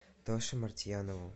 тоше мартьянову